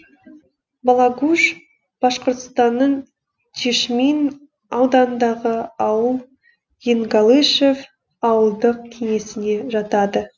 балагуш башқұртстанның чишмин ауданындағы ауыл енгалышев ауылдық кеңесіне жатады